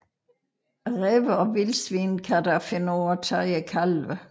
Ræve og vildsvin kan dog finde på at tage kalvene